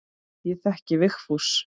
Ég þekki Vigfús.